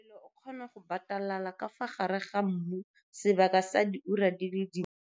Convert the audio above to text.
Molelo o kgona go batalala ka fa gare ga mmu sebaka sa diura di le dintsi.